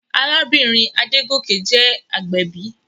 Arábìnrin Adégòkè jẹ́ agbẹ̀bí.